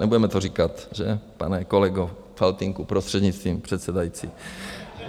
Nebudeme to říkat, že, pane kolego Faltýnku, prostřednictvím předsedající.